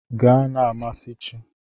Gaa na-amasị chi!